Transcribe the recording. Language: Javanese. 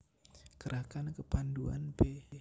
Gerakan Kepandhuan b